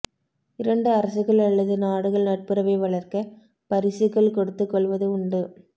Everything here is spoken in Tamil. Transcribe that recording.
இரண்டு அரசுகள் அல்லது நாடுகள் நட்புறவை வளர்க்க பரிசுகள் கொடுத்துக் கொள்வது உண்டு